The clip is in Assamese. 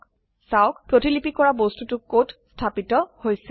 চাওক প্ৰতিলিপি কৰা বস্তুটো কত স্থাপিত হৈছে